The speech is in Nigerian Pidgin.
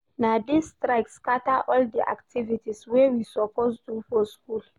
Na dis strike scatter all di activities wey we suppose do for skool.